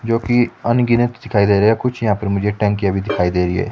जो की अनगिनत दिखाई दे रही है कुर्सियां भी टंकिया भी दिखाई दे रही है।